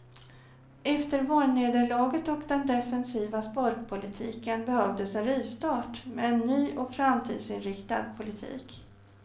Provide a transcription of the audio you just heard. Efter valnederlaget och den defensiva sparpolitiken behövdes en rivstart med en ny och framtidsinriktad politik.